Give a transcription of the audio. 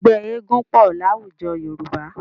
Ẹgbẹ́ eégún pọ̀ láwùjọ Yorùbá.